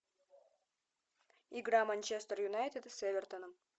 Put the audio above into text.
игра манчестер юнайтед с эвертоном